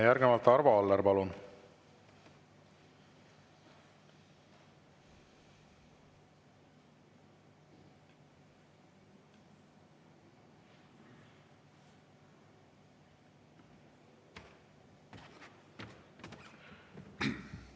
Järgnevalt Arvo Aller, palun!